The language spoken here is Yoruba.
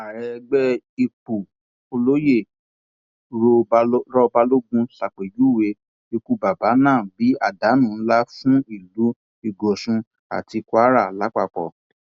ààrẹ ẹgbẹ ìpú olóyè rọ balógun ṣàpèjúwe ikú bàbà náà bíi àdánù ńlá fún ìlú ìgòsùn àti kwara lápapọ